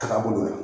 Taga bolo la